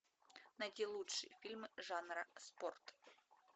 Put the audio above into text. найти лучшие фильмы жанра спорт